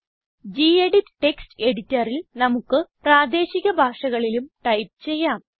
gedit text എഡിറ്ററിൽ നമുക്ക് പ്രാദേശിക ഭാഷകളിലും ടൈപ്പ് ചെയ്യാം